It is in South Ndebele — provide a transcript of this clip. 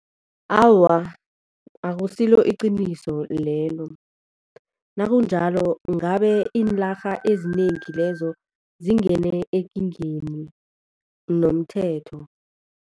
Awa, akusilo iqiniso lelo nakunjalo ngabe iinlarha ezinengi lezo zingene ekingeni nomthetho.